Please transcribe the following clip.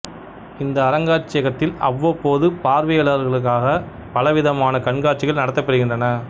இந்த அரங்காட்சியகத்தில் அவ்வப்போது பார்வையாளர்களுக்காகப் பல விதமான கண்காட்சிகள் நடத்தப்பெறுகின்றன